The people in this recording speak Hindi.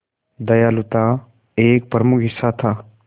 दयालुता एक प्रमुख हिस्सा था